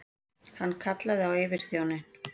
Hann kallaði á yfirþjóninn.